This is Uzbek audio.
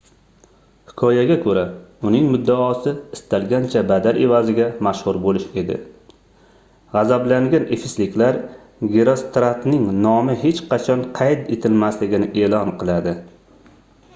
hikoyaga koʻra uning muddaosi istalgancha badal evaziga mashhur boʻlish edi gʻazablangan efesliklar gerostratning nomi hech qachon qayd etilmasligini eʼlon qiladi